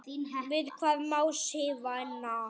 Við hvað má Sif vinna?